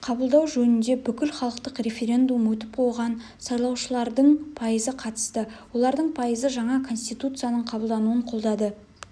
қабылдау жөнінде бүкілхалықтық референдум өтіп оған сайлаушылардың пайызы қатысты олардың пайызы жаңа конституцияның қабылдануын қолдады